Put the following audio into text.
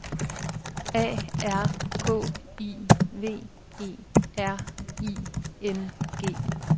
A R K I V E R I N G